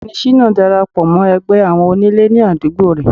ọgbẹni shina darapọ mọ ẹgbẹ àwọn onílè ní àdúgbò re